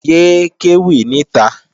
Yé é kéwì níta!